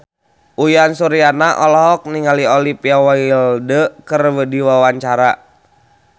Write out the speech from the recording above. Uyan Suryana olohok ningali Olivia Wilde keur diwawancara